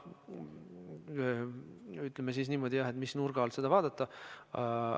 Ütleme niimoodi, et jah, oleneb, mis nurga alt seda vaadata.